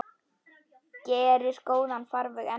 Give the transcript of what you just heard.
Gerir góðan farveg enn betri.